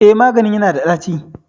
Eh maganin yana da ɗaci